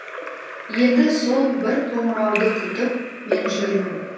енді сол бір қоңырауды күтіп мен жүрмін